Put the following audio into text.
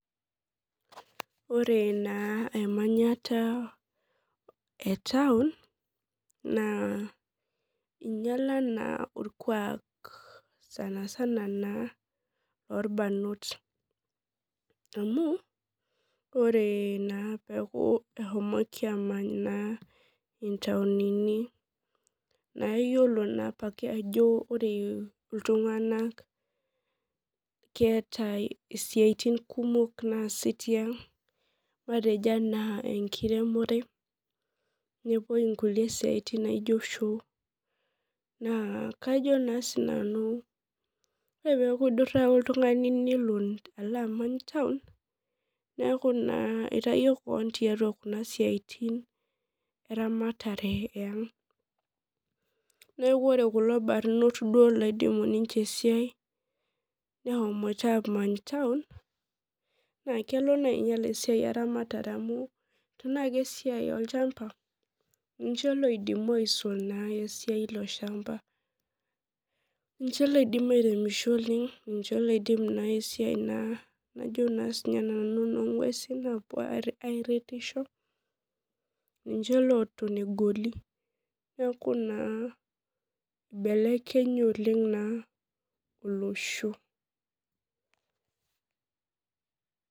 Ore naa emanyata etaun na inyala na orkuak sanasana lorbarnot amu ore na nepuoi amany ntaunini na iyolo na ajo ore ltunganak keetae isiatin kumok naasi tiang matejo ana enkiremore, nepuoi shoo neaku kajo nanu ore teneaku idura oltungani nelo amany taun neaku itawuo keon tiatua kuna siatin eramatare eang, neaku ore kulo barnot oidimu esiai eang neshomoita amany taun na kelo ainyal esiai eramatare amu tanaa esiai olchamba ninche oidimu alang esiai iloshamba ninche loidim aremisho oleng ninche oidim esiai najobna nanu enongwesi apuo aretisho ninche loton egoli neaku na ibelekenya oleng olosho.